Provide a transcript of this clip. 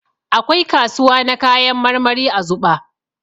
Akwai kasuwa na kayan marmari a Zuɓa.